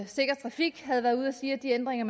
sikker trafik havde været ude at sige at de ændringer